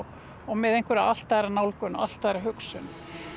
með allt aðra nálgun og allt aðra hugsun